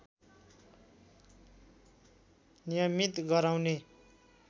नियमित गराउने